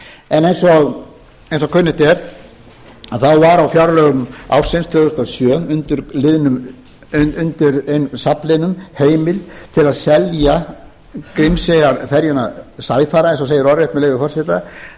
en eins og kunnugt er þá var á fjárlögum ársins tvö þúsund og sjö undir safnliðnum heimild til að selja grímseyjarferjuna sæfara eins og segir orðrétt með leyfi forseta